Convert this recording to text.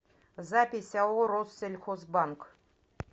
запись ао россельхозбанк